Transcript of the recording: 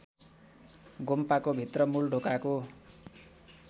गोम्पाको भित्र मूलढोकाको